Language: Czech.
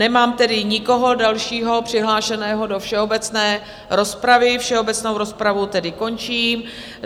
Nemám tedy nikoho dalšího přihlášeného do všeobecné rozpravy, všeobecnou rozpravu tedy končím.